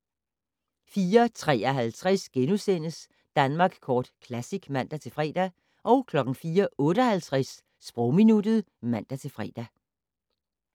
04:53: Danmark Kort Classic *(man-fre) 04:58: Sprogminuttet (man-fre)